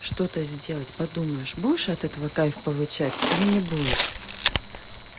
что-то сделать подумаешь будешь от этого кайф получать или не будешь